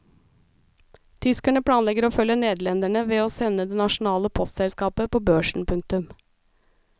Tyskerne planlegger å følge nederlenderne ved å sende det nasjonale postselskapet på børsen. punktum